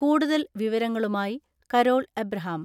കൂടുതൽ വിവരങ്ങളുമായി Carol Abraham.